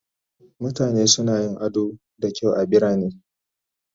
Mutane suna yin ado da kyau a birane